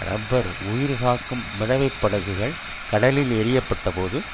இரப்பர் உயிர்காக்கும் மிதவைப்படகுகள் கடலில் எறியப்பட்டபோது